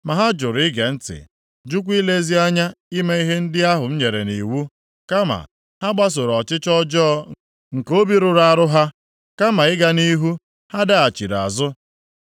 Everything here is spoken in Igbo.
Ma ha jụrụ ige ntị, jụkwa ilezi anya ime ihe ndị ahụ m nyere nʼiwu. Kama ha gbasoro ọchịchọ ọjọọ nke obi rụrụ arụ ha. Kama ịga nʼihu, ha daghachiri azụ.